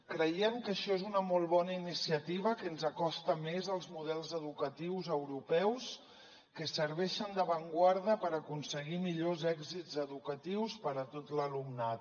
creiem que això és una molt bona iniciativa que ens acosta més als models educatius europeus que serveixen d’avantguarda per aconseguir millors èxits educatius per a tot l’alumnat